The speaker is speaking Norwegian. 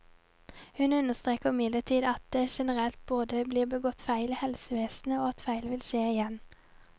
Hun understreker imidlertid at det generelt både er blitt begått feil i helsevesenet, og at feil vil skje igjen.